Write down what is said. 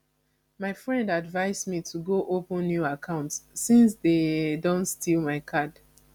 my friend advice me to go open new account since dey don steal my card